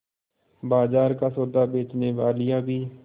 बाजार का सौदा बेचनेवालियॉँ भी